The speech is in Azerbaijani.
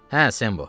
Hə, Sembo.